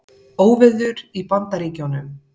Óveður í Bandaríkjunum